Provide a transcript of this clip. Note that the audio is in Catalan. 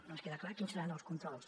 no ens queda clar quins seran els controls